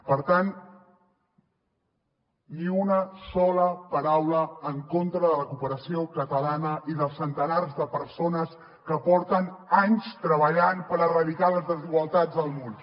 per tant ni una sola paraula en contra de la cooperació catalana i dels centenars de persones que porten anys treballant per erradicar les desigualtats del món